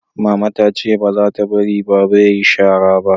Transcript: mama ta ce ba za ta bari baba ya yi shara ba